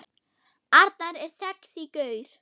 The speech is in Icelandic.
Arnar er sexí gaur.